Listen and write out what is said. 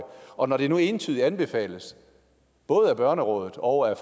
og når det nu entydigt anbefales både af børnerådet og af